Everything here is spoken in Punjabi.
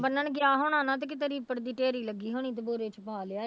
ਬੰਨਣ ਗਿਆ ਹੋਣਾ ਨਾ ਤੇ ਕਿਤੇ ਰੀਪੜ ਦੀ ਢੇਰੀ ਲੱਗੀ ਹੋਣੀ ਤੇ ਬੋਰੇ ਚ ਪਾ ਲਿਆਇਆ